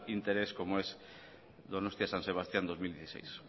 interés como es donostia san sebastián dos mil dieciséis